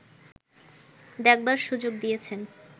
দেখবার সুযোগ দিয়েছেন